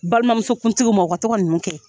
Balimamuso kuntigiw ma u ka tɔ mɔgɔ tɔgɔ nunun kɛ.